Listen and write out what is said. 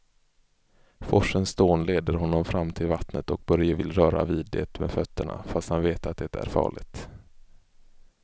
Forsens dån leder honom fram till vattnet och Börje vill röra vid det med fötterna, fast han vet att det är farligt.